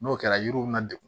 N'o kɛra yiriw bɛ na degun